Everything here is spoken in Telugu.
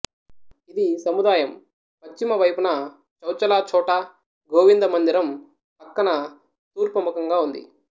ఇది సముదాయం పశ్చిమ వైపున చౌచలా ఛోటా గోవింద మందిరం పక్కన తూర్పు ముఖంగా ఉంది